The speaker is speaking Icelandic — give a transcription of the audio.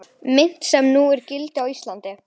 Mynt sem nú er í gildi á Íslandi.